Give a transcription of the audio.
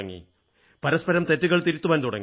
പരസ്പരം തെറ്റുകൾ തിരുത്തുവാൻ തുടങ്ങി